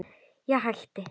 Ég hætti.